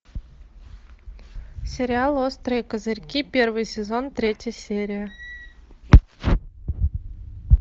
сериал острые козырьки первый сезон третья серия